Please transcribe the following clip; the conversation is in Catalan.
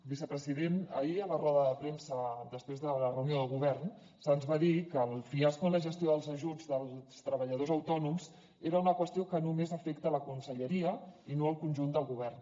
vicepresident ahir a la roda de premsa després de la reunió del govern se’ns va dir que el fiasco en la gestió dels ajuts dels treballadors autònoms era una qüestió que només afecta la conselleria i no al conjunt del govern